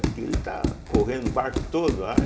Porque ele está correndo o barco todo lá.